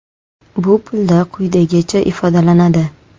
Bu pulda quyidagicha ifodalanadi.